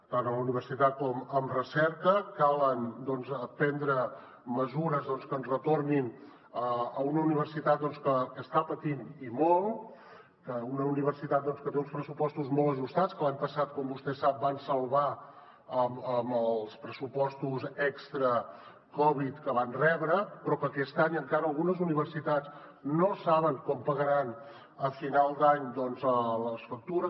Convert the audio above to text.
tant a la universitat com en recerca cal prendre mesures que ens retornin a una universitat que està patint i molt que una universitat que té uns pressupostos molt ajustats que l’any passat com vostè sap van salvar amb els pressupostos extra covid que van rebre però que aquest any encara algunes universitats no saben com pagaran a final d’any les factures